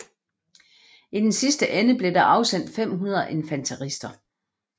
I den sidste ende blev der afsendt 500 infanterister